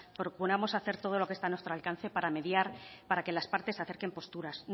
procuramos hacer todo lo que está a nuestro alcance para mediar para que las partes acerquen posturas